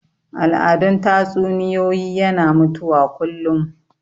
Al'adun tatsuniyoyi yana mutuwa kullum